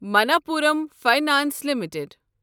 Manappuram finance limited